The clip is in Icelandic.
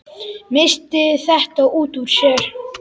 Missti þetta út úr sér.